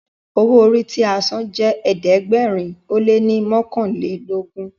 owo orí tí a sàn jé ẹ̀ẹ́dẹ̀gbẹ̀rin o lẹ ní mọkanlelogun.